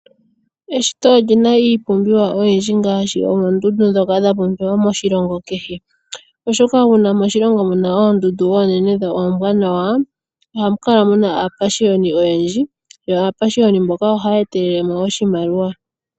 Eshito olyina iipumbiwa oyindji ngaashi oondundu ndhoka dha pumbiwa moshilongo kehe. Oshoka uuna moshilingo muna oondundu oonene dho ombwanawa ohamu kala muna aapashiyoni oyendji, yo aapashiyoni mboka ohaya etelele mo oshimaliwa.